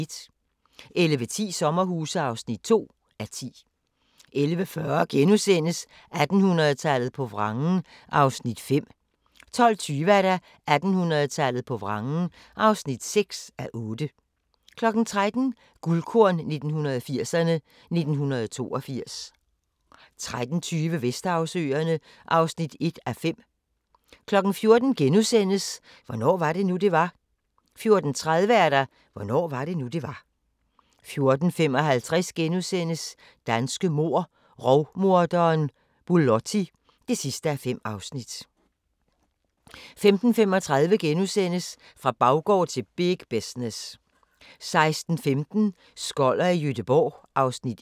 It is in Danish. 11:10: Sommerhuse (2:10) 11:40: 1800-tallet på vrangen (5:8)* 12:20: 1800-tallet på vrangen (6:8) 13:00: Guldkorn 1980'erne: 1982 13:20: Vesterhavsøerne (1:5) 14:00: Hvornår var det nu, det var? * 14:30: Hvornår var det nu, det var? 14:55: Danske mord - Rovmorderen Bulotti (5:5)* 15:35: Fra baggård til big business * 16:15: Skoller i Gøteborg (Afs. 1)